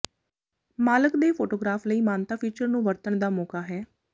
ਮਾਲਕ ਦੇ ਫੋਟੋਗ੍ਰਾਫ਼ ਲਈ ਮਾਨਤਾ ਫੀਚਰ ਨੂੰ ਵਰਤਣ ਦਾ ਮੌਕਾ ਹੈ